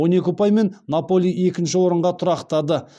он екі ұпаймен наполи екінші орынға тұрақтады